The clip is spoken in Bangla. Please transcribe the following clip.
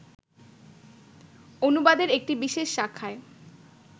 অনুবাদের একটি বিশেষ শাখায়